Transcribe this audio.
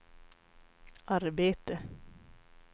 arbete